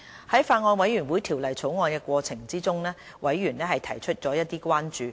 在法案委員會審議《條例草案》的過程中，委員提出了一些關注。